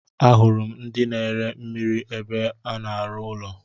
Ahụrụ m ndị na ere mmiri ébé a na-aru ụlọ.